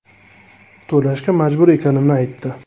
To‘lashga majbur ekanimni aytdi.